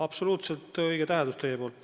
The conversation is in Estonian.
Absoluutselt õige täheldus.